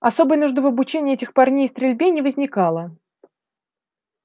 особой нужды в обучении этих парней стрельбе не возникало